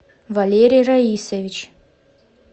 валерий раисович